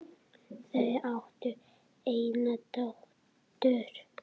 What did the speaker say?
Þau áttu eina dóttur.